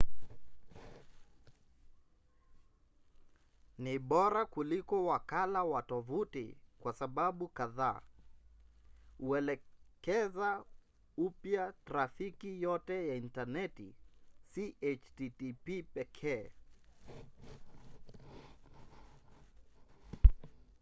ni bora kuliko wakala wa tovuti kwa sababu kadhaa: huelekeza upya trafiki yote ya intaneti si http pekee